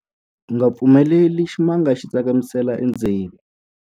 U nga pfumeleli ximanga xi tsakamisela endzeni.